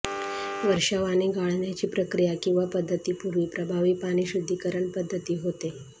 वर्षाव आणि गाळण्याची प्रक्रिया किंवा पध्दती पूर्वी प्रभावी पाणी शुध्दीकरण पद्धती होते